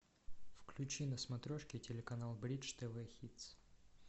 включи на смотрешке телеканал бридж тв хитс